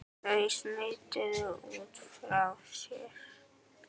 Þau smituðu út frá sér.